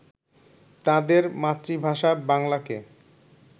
তাদের মাতৃভাষা বাংলাকে